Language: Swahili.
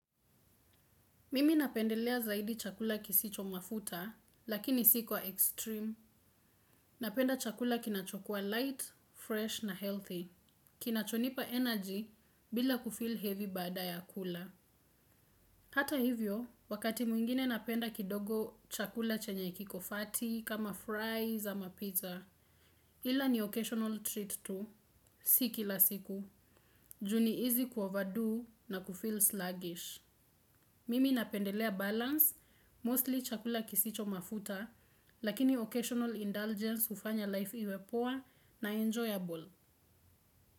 Mimi napendelea zaidi chakula kisicho mafuta, lakini si kwa extreme. Napenda chakula kinachokua light, fresh na healthy. Kinachonipa energy bila kufill heavy baada ya kula. Hata hivyo, wakati mwingine napenda kidogo chakula chenye kikofati, kama fries ama pizza. Hila ni occasional treat tu, si kila siku. Juu ni izi kuoverdo na kufill sluggish. Mimi napendelea balance, mostly chakula kisicho mafuta, lakini occasional indulgence hufanya life iwe poa na enjoyable.